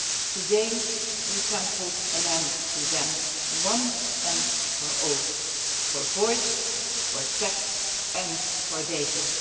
Today we can put an end to them once and for all, for voice, text and data.